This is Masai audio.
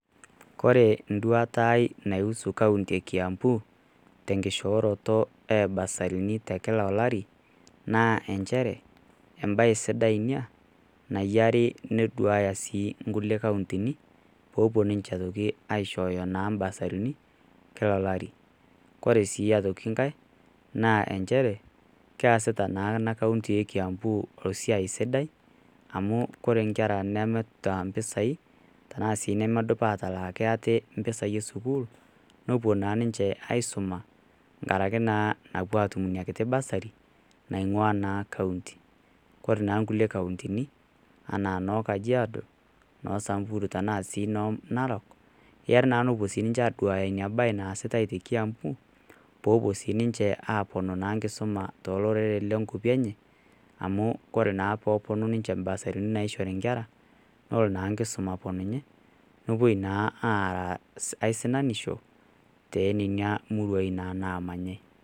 Kore enduata ai naihusu kauti e Kiambu tenkishooroto o burserini kila olari naa inchere, embae sidai Ina nayiare neduaya sii inkulie kauntini, pee epuo naa ninche aishooyo inkulie basarini kila olari. Kore sii aitoki enkai, naa enchere easitaa naa ena kaunti e Kiambu esiai sidai ,amu ore inkera nemeata impisai tanaa sii inemeidim atalaaki ate impisai e sukuul, nepuo naa ninche aisuma enkaraki naa napuo atum Ina kiti basari naing'ua naa Kaunti. Ore naa inkulie kauntini anaa noo Kajiado, noo Samburu, tanaa sii noo Narok, eya naa nepuo sii ninche aduaya Ina bae naasitai te Kiambu, pee epuo naa siininche atum naa enkisuma too loreren loo nkwapi enye amu ore naa peepuonu ninche imbasarini naishori inkera, nelo naa enkisuma aponunye naa aaraa naa esinanisho teina murua naa namayai.